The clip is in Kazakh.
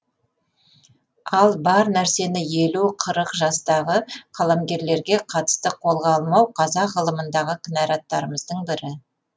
ал бар нәрсені елу қырық жастағы қаламгерлерге қатысты қолға алмау қазақ ғылымындағы кінәраттарымыздың бірі